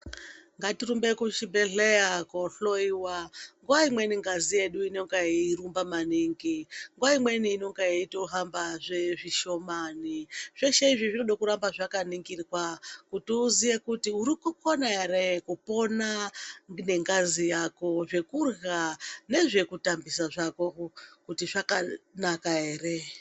Ngatirumbe kuchibhedhleya kohloyiwa. Nguwa imweni ngazi yedu inonga yeirumba maningi. Nguwa imweni inenga yeitohambazve zvishomani. Zveshe izvi zvinoda kuramba zvakaningirwa. Kuti uziye kuti uri kukona ere kupona nengazi yako, zvekurya nezvekutambisa zvako kuti zvakanaka ere.